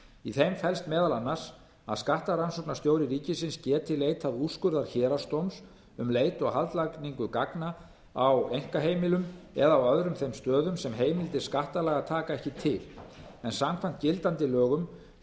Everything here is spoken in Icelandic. í þeim felst meðal annars að skattrannsóknarstjóri ríkisins geti leitað úrskurðar héraðsdóms um leit og haldlagningu gagna á einkaheimilum eða á öðrum þeim stöðum sem heimildir skattalaga taka ekki til en samkvæmt gildandi lögum